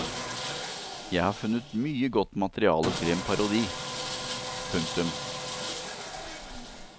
Jeg har funnet mye godt materiale til en parodi. punktum